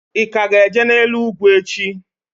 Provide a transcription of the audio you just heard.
I ka ga-eje n'elu ugwu echi?